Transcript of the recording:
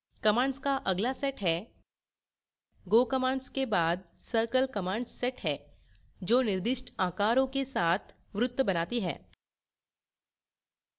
commands का अगला set है go commands के बाद circle commands set है जो निर्दिष्ट आकारों के साथ वृत्त बनाती है